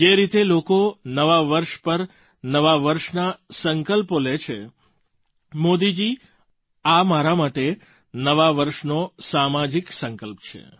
જે રીતે લોકો નવા વર્ષ પર નવા વર્ષના સંકલ્પો લે છે મોદીજી આ મારા માટે નવા વર્ષનો સામાજિક સંકલ્પ છે